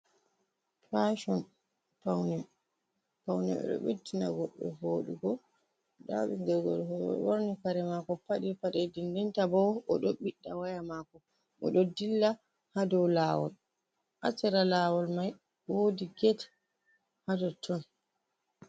Fashon paune. Paune ɗo beɗɗina goɗɗo vodugo nda bingel gorko oɗo ɓorni kare mako, faɗi paɗe. Dendenta bo o ɗo biɗɗa waya mako. O ɗo dilla ha dau lawol. Ha sera lawol mai wodi get hatotton.